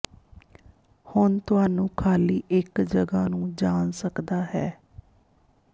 ਹੁਣ ਤੁਹਾਨੂੰ ਖ਼ਾਲੀ ਇੱਕ ਜਗ੍ਹਾ ਨੂੰ ਜਾਣ ਸਕਦਾ ਹੈ